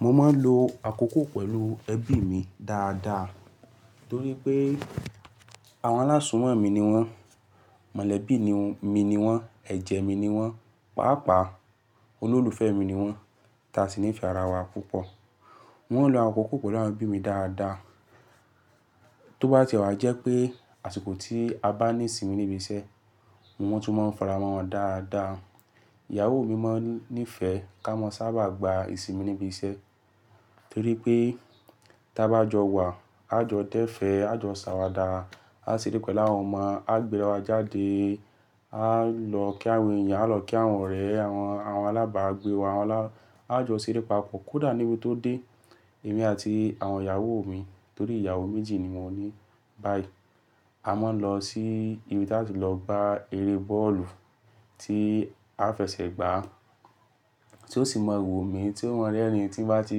Mo máa ń lo àkókò pẹ̀lú ẹbí mi dáadáa torí pé àwọn alásùnwọ̀n mi ni wọ́n, mọ̀lẹ́bí mi ni wọ́n, ẹ̀jẹ̀ mi ni wọ́n, pàápàá olólùfẹ́ mi ni wọ́n táa sì nífẹ̀ẹ́ ara wa púpọ̀. Wọ́n ń lo àkókò pẹ̀lú àwọn ẹbí mi dáadáa. Tó bá ti wà jẹ́ pé àsìkò tí a bá ní ìsinmi níbi iṣẹ́, wọ́n tún máa ń faramọ́ wọn dáadáa. Ìyàwó mi máa ń nífẹ̀ẹ́ ká mọ sábà gba ìsinmi níbi iṣẹ́ torí pé tí a bá jọ wà, a jọ dẹ́fẹ̀, a jọ ṣàwàdà, a ṣeré pẹ̀lú àwọn ọmọ, a gbéra wa jáde, a lọ kí àwọn ẹ̀yàn, a lọ kí àwọn ọ̀rẹ́, àwọn alábàágbé wa, a jọ ṣeré papọ̀. Kódà níbi tó dé èmi àti àwọn ìyàwó mi torí ìyàwó méjì ni mo ní báyìí. A máa ń lọ sí ibi tí a ti lọ gba eré bọ́ọ̀lù tí a fẹsẹ̀ gbà tí ó sì mọ́ wò mí tí ó mọ́ rẹ́ẹ̀rin tí ń bá ti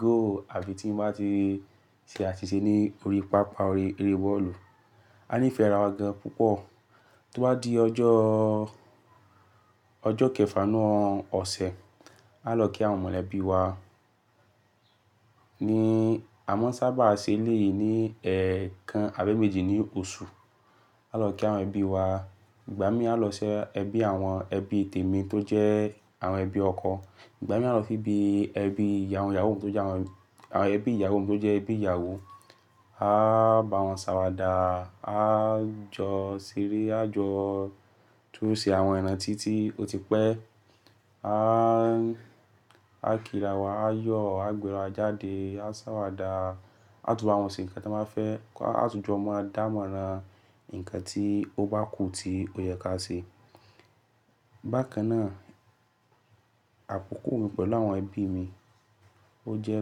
goal àbí tí ń bá ti ṣe àsìṣè ní orí pápá eré bọ́ọ̀lù. A nífẹ̀ẹ́ ara wa gan púpọ̀. Tó bá di ọjọ́, ọjọ́ kẹfà náà ọ̀sẹ̀, a lọ kí àwọn mọ̀lẹ́bí wa. Ni a máa ń sábà ṣe eléyìí ní ẹ̀ẹ̀kan abẹ́mẹ́jì ní oṣù. A lọ kí àwọn ẹbí wa. Ìgbà mí à lọ sí ẹbí àwọn ẹbí tèmi tó jẹ́ àwọn ẹbí ọkọ. Ìgbà mí a lọ sí ibi ẹbí ìyàwó mi tó jẹ́ àwọn ẹbí ìyàwó mi tó jẹ́ ẹbí ìyàwó. A bá wọn ṣàwàdà, a jọ ṣeré, a jọ tún ṣe àwọn ìràntí tí ó ti pẹ́, a kíra wa, a yọ̀, a gbéra wa jáde, a ṣàwàdà, a tún bá wọn ṣe nǹkan tí won ba fẹ́, a tún jọ mọ́ ọ dámọ́ran nǹkan tí ó bá kù tí ó yẹ ká ṣe. Bákan náà àkókò mi pẹ̀lú àwọn ẹbí mi ó jẹ́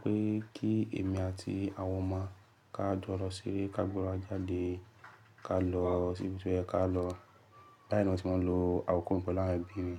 pé kí èmi àti àwọn ọmọ ká jọ lọ ṣeré, ká gbéra jáde, ká lọ sí ibi tí ó yẹ ká lọ. Báyìí ni ọ̀tí mo ń lo àkókò mi pẹ̀lú àwọn ẹbí mi.